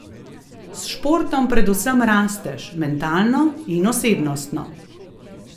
S športom predvsem rasteš, mentalno in osebnostno.